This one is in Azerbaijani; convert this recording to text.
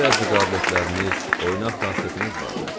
Sizin bəzi qabiliyyətiniz, oynaqlı xasiyyətiniz vardı.